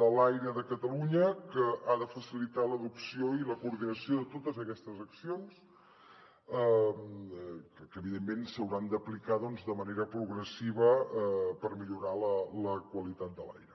de l’aire de catalunya que ha de facilitar l’adopció i la coordinació de totes aquestes accions que evidentment s’hauran d’aplicar doncs de manera progressiva per millorar la qualitat de l’aire